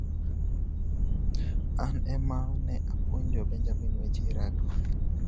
"An ema ne apuonjo Benjamin weche rugby.